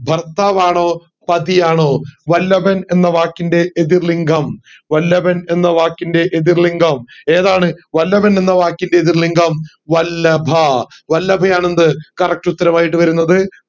ഭർത്താവാണോ പാതി ആണോ വല്ലഭൻ എന്ന വാക്കിൻറെ എതിർ ലിംഗം വല്ലഭൻ എന്ന വാക്കിൻറെ എതിർ ലിംഗം ഏതാണ് വല്ലഭൻ എന്ന വാക്കിൻറെ എതിർ ലിംഗം വല്ലഭ വല്ലഭയാണ് എന്ത് correct ഉത്തരമായിട്ട് വരുന്നത്